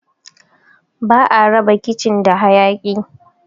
Ba'a raba kicin da hayaki